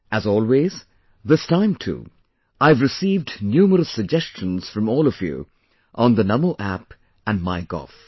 As always, this time too, I have received numerous suggestions from all of you on the Namo App and MyGov